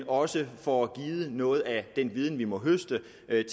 også får givet noget af den viden man må høste